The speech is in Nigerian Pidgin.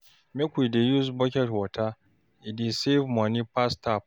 Make we dey use bucket water, e dey save money pass tap.